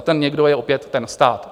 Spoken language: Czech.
A ten někdo je opět ten stát.